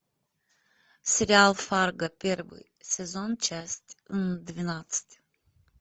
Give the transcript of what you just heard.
сериал фарго первый сезон часть двенадцать